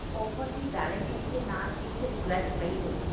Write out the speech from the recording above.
offer ਦੀ validity ਦੇ ਨਾਲ ਇੱਕ request ਪਈ ਹੋਈ ਹੈ